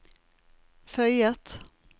føyet